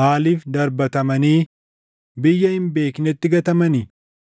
maaliif darbatamanii biyya hin beeknetti gatamani?